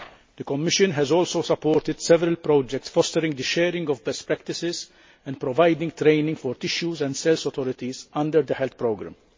The Commission has also supported several projects fostering the sharing of best practices and providing training for tissues and cells authorities under the health programme.